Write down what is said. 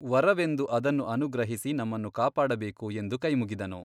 ವರವೆಂದು ಅದನ್ನು ಅನುಗ್ರಹಿಸಿ ನಮ್ಮನ್ನು ಕಾಪಾಡಬೇಕು ಎಂದು ಕೈಮುಗಿದನು.